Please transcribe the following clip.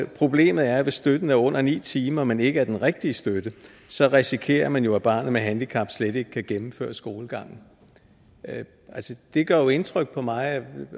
problemet er hvis støtten er under ni timer men ikke er den rigtige støtte så risikerer man jo at barnet med handicap slet ikke kan gennemføre skolegangen det gør indtryk på mig